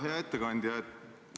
Hea ettekandja!